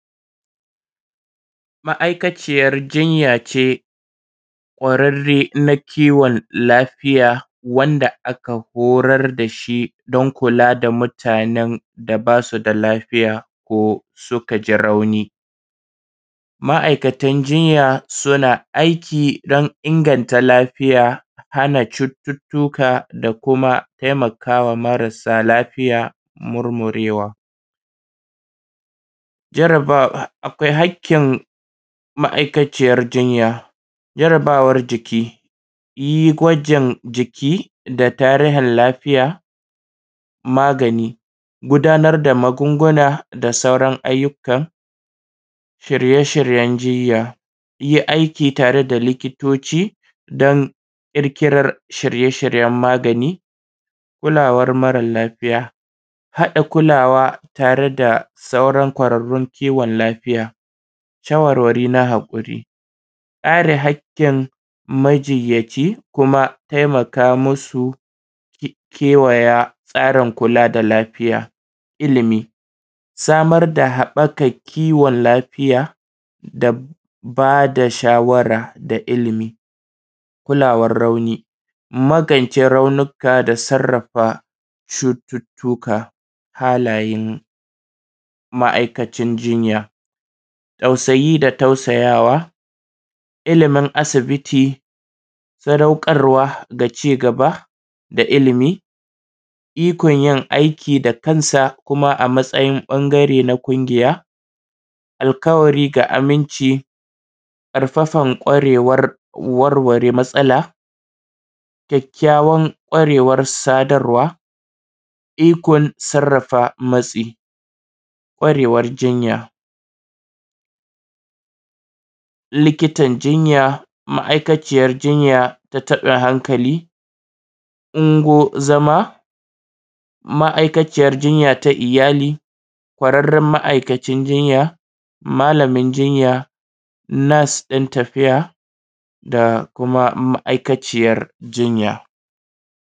Ma'aikaciyar jinya ce ƙwararre na kiwon lafiya wanda aka horar da shi don kula da mutanen da basu da lafiya ko suka ji rauni. Ma'aikatan jinya suna aiki don inganta lafiya, hana cututtuka da kuma taimakawa marasa lafiya murmurewa. Jaraba: Akwai hakkin ma'aikaciyar jinya, jarabawar jiki, yi gwajin jiki da tarihin lafiya. Magani: Gudanar da magunguna da sauran ayyukan shirye-shiryen jinya, yi aiki tare da likitoci don ƙirƙirar shirye-shiryen magani. Kulawar mara lafiya: Haɗa kulawa tare da sauran ƙwararrun kiwon lafiya, shawarwari na haƙuri, kare haƙƙin majinyaci kuma taimaka masu kewaye tsarin kula da lafiya. Ilimi, samar da haɓakan kiwon lafiya da ba da shawara da ilimi. Kulawar rauni, magance raunuka da sarrafa cututtuka. Halayen ma'aikacin jinya; tausayi da tausaya wa, ilimin asibiti, sadaukarwa da cigaba da ilimi, ikon yin aiki da kansa kuma a matsayin ɓangare na ƙungiya, alƙawari ga aminci, ƙarfafan ƙwarewar warware matsala, kyakkyawan ƙwarewan sadarwa, ikon sarrafa matsu. Ƙwarewar jinya; likitan jinya, ma'aikaciyar jinya da taɓin hankali, ungo zama, ma'aikaciyar jinya ta iyali, ƙwararren ma'aikacin jinya, malamin jinya, nurse ɗin tafiya da kuma ma'aikaciyar jinya.